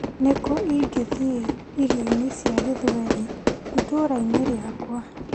Nĩkũ ingĩthiĩ irio-inĩ cia gĩthweri itũra-inĩ rĩakwa .